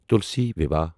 تُلسی ویواہ